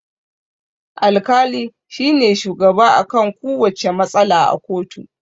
Al-kali shine shugaba akan kuwacce matsala a koto